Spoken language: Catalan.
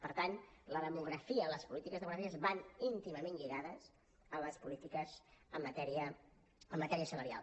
per tant la demografia les polítiques demogràfiques van íntimament lligades a les polítiques en matèria salarial